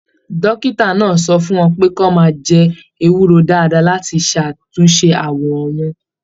Dókítà náà sọ fún wọn pé kí wọn máa jẹ ewúro dáadáa láti ṣàtúnṣe awọ wọn.